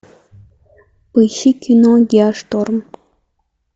поищи кино геошторм